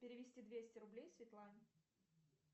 перевести двести рублей светлане